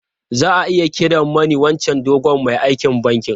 Za a iya kiran mani wancan dogon mai aikin bankin?